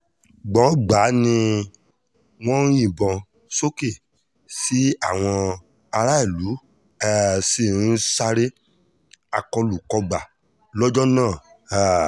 gbọ̀ngbàà ni wọ́n ń yìnbọn sókè tí àwọn aráàlú um sì ń sáré akólú-kógbá lọ́jọ́ náà um